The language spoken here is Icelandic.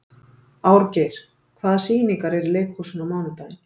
Árgeir, hvaða sýningar eru í leikhúsinu á mánudaginn?